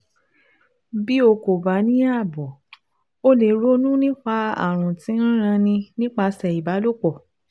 Bí o kò bá ní ààbò, o lè ronú nípa ààrùn tí ń ranni nípasẹ̀ ìbálòpọ̀